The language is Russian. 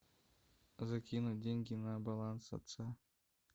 закинуть деньги на баланс отца